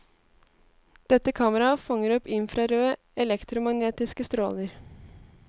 Dette kameraet fanger opp infrarøde elektromagnestiske stråler.